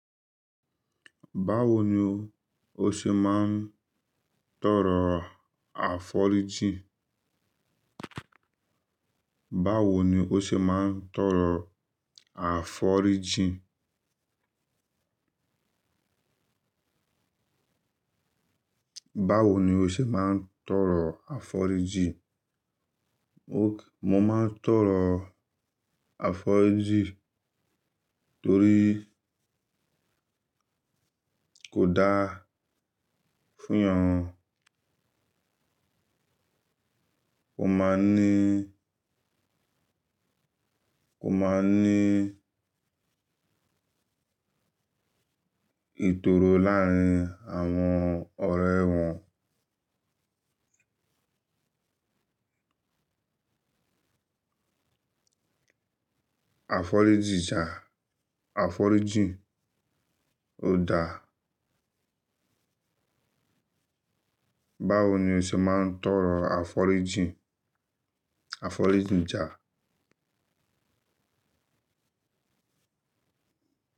Báwo ni o ṣe máa ń tọrọ, àforíjì? Báwo ni o ṣe máa ń tọrọ àforíjì? Báwo ni o ṣe máa ń tọrọ àforíjì? Mo máa ń tọrọ àforíjì torí kò dáa fún èèyàn. Kò máa ní, kò máa ní ìtòró láàárín àwọn, ọ̀rẹ́ wọn. Àforíjì ṣá, àforíjì ò dáa. Báwo ni o ṣe máa ń tọrọ àforíjì, àforíjì ja?